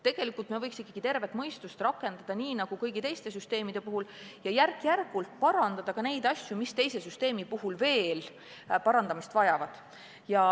Tegelikult võiks me ikkagi tervet mõistust rakendada, nii nagu kõigi teiste süsteemide puhul, ja järk-järgult parandada neid asju, mis teise samba puhul veel parandamist vajavad.